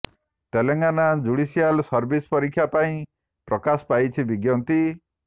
Telangana judicial service ପରୀକ୍ଷା ପାଇଁ ପ୍ରକାଶ ପାଇଛି ବିଜ୍ଞପ୍ତି